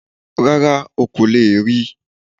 Rárá, o kò leè ri